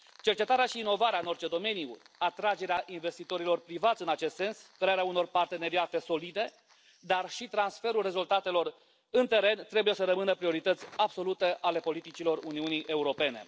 Cercetarea și inovarea în orice domeniu, atragerea investitorilor privați în acest sens, crearea unor parteneriate solide, dar și transferul rezultatelor în teren trebuie să rămână priorități absolute ale politicilor Uniunii Europene.